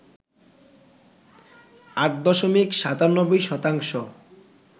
৮ দশমিক ৯৭ শতাংশ